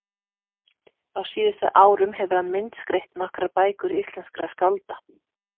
Á síðustu árum hefur hann myndskreytt nokkrar bækur íslenskra skálda.